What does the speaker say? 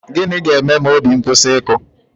Gịnị ga-eme ma obi m kwụsị ịkụ?